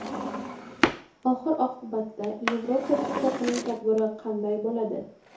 Oxir-oqibatda Yevropa Ittifoqining taqdiri qanday bo‘ladi?